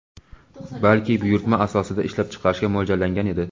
balki buyurtma asosida ishlab chiqarishga mo‘ljallangan edi.